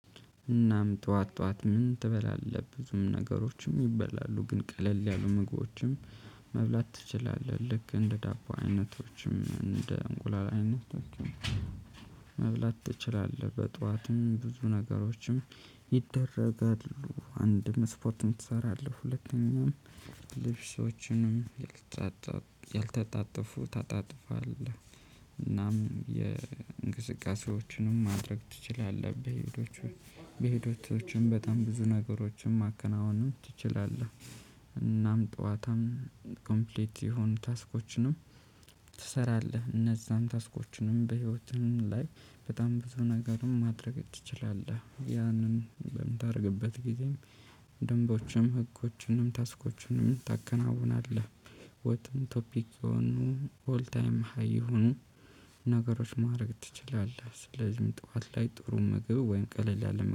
እናም ጠዋት ጠዋት ምን ትበላለህ ብዙም ነገሮችም ይበላሉ ግን ቀለል ያሉ ምግቦችም መብላት ትችላለህ ልክ እንደ ዳቦ አይነቶችም እንደ እንቁላል አይነቶችም። መብላት ትችላለህ በጧትም ብዙ ነገሮችም ይደረጋሉ አንድም ስፖርትም ትሰራለህ ሁለተኛው። ልብሶችንም ያልተጣጠፉ ታጣጥፋለህ። እናም የእንቅስቃሴዎችንም ማድረግ ትችላለህ በሄዶቹ በሄዶቶቹም በጣም ብዙ ነገሮችን ማከናወንም ትችላለህ። እናም ጠዋታም ኮምፕሊት የሆኑ ታስኮችንም ትሰራለህ። እነዛም ታስኮችንም በህይወትህም ላይ በጣም በቶ ነገርም ማድረግ ትችላለህ ያንን በምታደርግበት ጊዜም ደንቦችም ህጎችንም ታስኮችንም ታከናውናለህን? ወጥም ቶፒክ የሆኑ ሆል ታይም ሃይ ይሁን። ነገሮች ማረግ ትችላለህ ስለዚህ ጠዋት ላይ ጥሩ ምግብ ወይም ቀለል ያለ